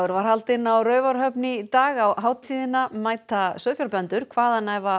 var haldinn á Raufarhöfn í dag á hátíðina mæta sauðfjárbændur hvaðanæva